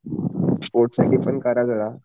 sports साठी पण करा जरा